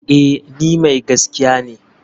Eh ni mai gaskiya ne.